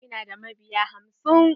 Ina da mabiya hamsin.